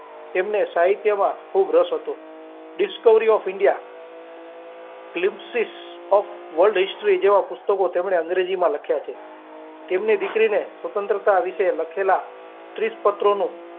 તેમને સાહિત્ય માં ખુબ રસ હતો Discovery of Indialipsis of India Zimpsis of World History જેવા પુસ્તકો તેમને english માં લખ્યા છે તેમને દીકરી ને સ્વતંત્રતા વિશે લખેલા ત્રીસ પાત્રો નો.